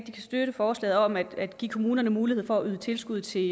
støtte forslaget om at give kommunerne mulighed for at yde tilskud til